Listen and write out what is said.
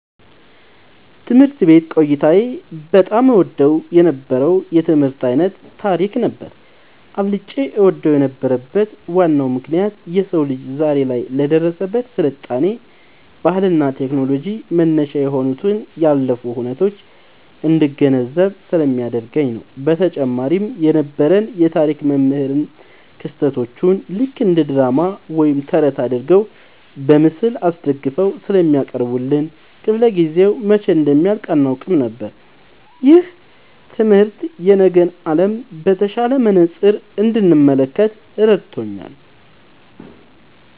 ትምህርት ቤት ቆይታዬ በጣም እወደው የነበረው የትምህርት ዓይነት ታሪክ ነበር። አብልጬ እወደው የነበረበት ዋናው ምክንያት የሰው ልጅ ዛሬ ላይ ለደረሰበት ስልጣኔ፣ ባህልና ቴክኖሎጂ መነሻ የሆኑትን ያለፉ ሁነቶች እንድገነዘብ ስለሚያደርገኝ ነው። በተጨማሪም የነበረን የታሪክ መምህር ክስተቶቹን ልክ እንደ ድራማ ወይም ተረት አድርገው በምስል አስደግፈው ስለሚያቀርቡልን፣ ክፍለ-ጊዜው መቼ እንደሚያልቅ አናውቅም ነበር። ይህ ትምህርት የነገን ዓለም በተሻለ መነጽር እንድመለከት ረድቶኛል።"